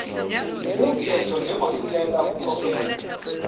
wumthetho njengohluleka ukukhokhela